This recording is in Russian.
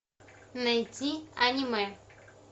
найти аниме